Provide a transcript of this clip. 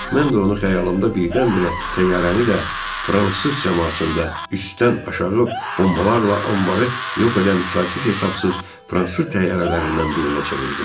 Mən də onu xəyalımda birdən-birə təyyarəni də fransız səmasında üstdən aşağı bombalarla anbarı yox edən saysız-hesabsız fransız təyyarələrindən birinə çevirdim.